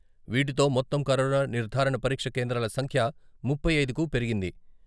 వీటితో మొత్తం కరోనా నిర్ధారణ పరీక్ష కేంద్రాల సంఖ్య ముప్పై ఐదుకు పెరిగింది.